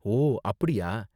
ஓ! அப்படியா.